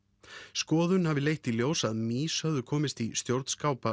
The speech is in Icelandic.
skoðun hafi leitt í ljós að mýs höfðu komist í